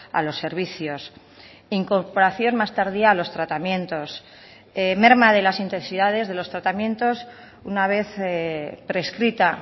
a los servicios incorporación más tardía a los tratamientos merma de las intensidades de los tratamientos una vez prescrita